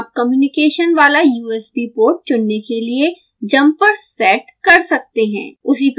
इस तरह आप कम्युनिकेशन वाला usb पोर्ट चुनने के लिए जम्पर्स सेट करते हैं